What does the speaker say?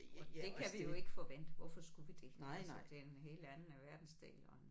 Og det kan vi jo ikke forvente hvorfor skulle vi det altså det er en helt anden verdensdel og en